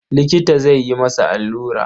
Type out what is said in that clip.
Likita zai yi masa allura.